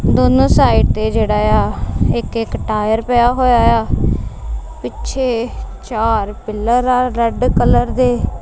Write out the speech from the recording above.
ਦੋਨੋਂ ਸਾਈਡ ਤੇ ਜੇਹੜਾਆ ਇੱਕ ਇੱਕ ਟਾਇਰ ਪਿਆ ਹੋਏਆ ਆ ਪਿੱਛੇ ਚਾਰ ਪਿੱਲਰ ਆ ਰੈੱਡ ਕਲਰ ਦੇ।